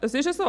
das ist so.